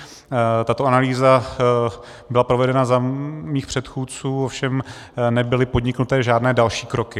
Tato analýza byla provedena za mých předchůdců, ovšem nebyly podniknuty žádné další kroky.